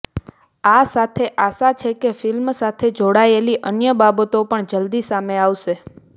આ સાથે આશા છે કે ફિલ્મ સાથે જોડાયેલી અન્ય બાબતો પણ જલદી સામે આવશે